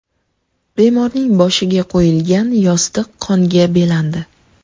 Bemorning boshiga qo‘yilgan yostiq qonga belandi.